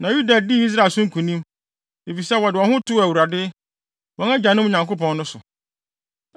Na Yuda dii Israel so nkonim, efisɛ wɔde wɔn ho too Awurade, wɔn agyanom Nyankopɔn no so.